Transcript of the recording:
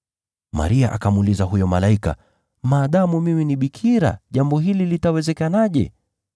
Maria akamuuliza huyo malaika, “Maadamu mimi ni bikira, jambo hili litawezekanaje?”